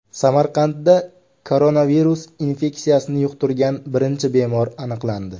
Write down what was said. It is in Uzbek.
Samarqandda koronavirus infeksiyasini yuqtirgan birinchi bemor aniqlandi.